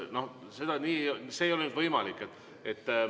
No nii see ei ole võimalik.